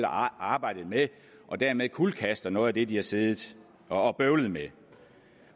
og arbejdet med og dermed kuldkaster man noget af det de har siddet og bøvlet med